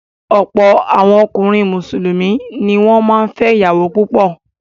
Ọ̀pọ̀ àwọn ọkùnrin Mùsùlùmí ni wọ́n máa ń fẹ́ ìyàwó púpọ̀.